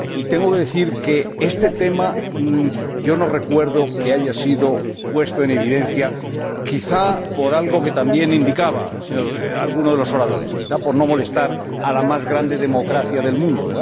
Y tengo que decir que yo no recuerdo que este tema haya sido puesto en evidencia, quizá por algo que también indicaba alguno de los oradores, quizá por no molestar a la más grande democracia del mundo.